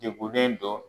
Degunnen don